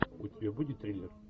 у тебя будет триллер